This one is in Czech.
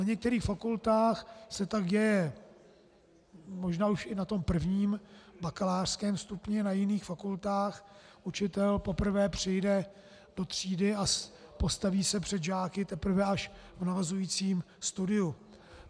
Na některých fakultách se tak děje možná už i na tom prvním, bakalářském stupni, na jiných fakultách učitel poprvé přijde do třídy a postaví se před žáky teprve až v navazujícím studiu.